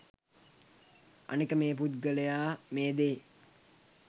අනික මේ පුද්ගලයා මේ දේ